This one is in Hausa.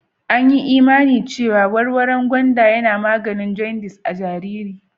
An yi imani cewa warwaren gwanda yana maganin jaundice a' jarirai.